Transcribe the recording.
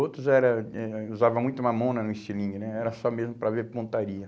Outros era eh usavam muito mamona no estilingue né, era só mesmo para ver pontaria.